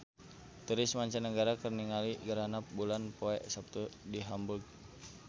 Turis mancanagara keur ningali gerhana bulan poe Saptu di Hamburg